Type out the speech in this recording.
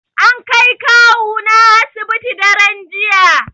An kai kawuna asibiti daran jiya